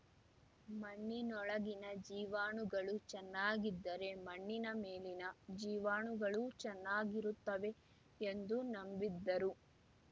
ಮಣ್ಣಿನೊಳಗಿನ ಜೀವಾಣುಗಳು ಚೆನ್ನಾಗಿದ್ದರೆ ಮಣ್ಣಿನ ಮೇಲಿನ ಜೀವಾಣುಗಳೂ ಚೆನ್ನಾಗಿರುತ್ತವೆ ಎಂದು ನಂಬಿದ್ದರು